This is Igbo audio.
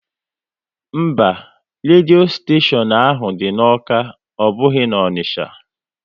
Mba, redio steshion ahụ dị n'Awka, ọ bụghị na Onicha